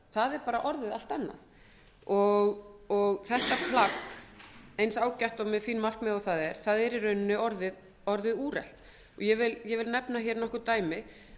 fram er bara orðið allt annað þetta plagg eins ágætt og með sín markmið eins og það er er í rauninni orðið úrelt ég vil nefna nokkur dæmi